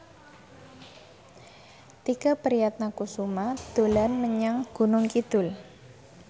Tike Priatnakusuma dolan menyang Gunung Kidul